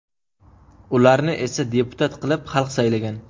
Ularni esa deputat qilib xalq saylagan.